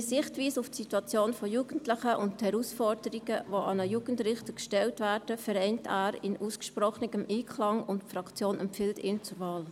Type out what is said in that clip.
Seine Sichtweise auf die Situation von Jugendlichen und die Herausforderungen, die an einen Jugendrichter gestellt werden, vereint er in ausgesprochenem Einklang, und die Fraktion empfiehlt, ihn zu wählen.